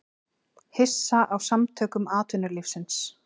Hissa á Samtökum atvinnulífsins